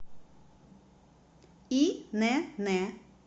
инн